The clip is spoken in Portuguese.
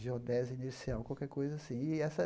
geodésia inercial, qualquer coisa assim. E essa